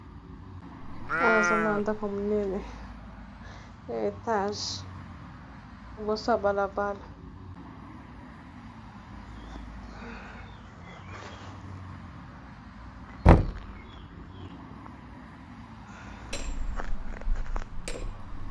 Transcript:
wana azomwona ndako monene ya etage liboso ya balabala